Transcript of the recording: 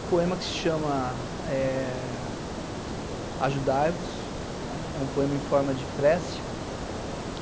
Um poema que se chama eh Ajudai-vos, né, é um poema em forma de prece.